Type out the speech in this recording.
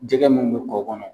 Jɛgɛ mun bu kɔ kɔnɔ.